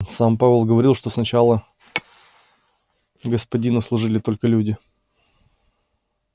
сам пауэлл говорил что сначала господину служили только люди